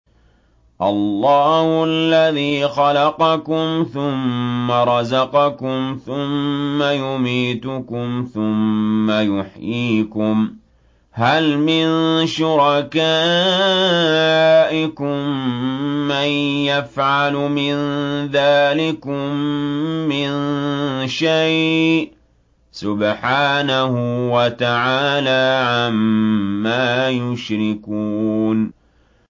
اللَّهُ الَّذِي خَلَقَكُمْ ثُمَّ رَزَقَكُمْ ثُمَّ يُمِيتُكُمْ ثُمَّ يُحْيِيكُمْ ۖ هَلْ مِن شُرَكَائِكُم مَّن يَفْعَلُ مِن ذَٰلِكُم مِّن شَيْءٍ ۚ سُبْحَانَهُ وَتَعَالَىٰ عَمَّا يُشْرِكُونَ